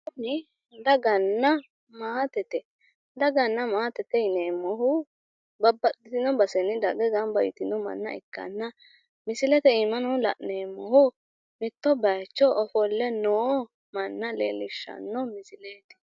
Kuni daganna maatete. Daganna maatete yineemmohu babbaxxitini basenni dagge gamba yitino manna ikkanna misilete iimano la'neemmohuno mitto bayicho ofolle noo manna leellishshanno misileeti.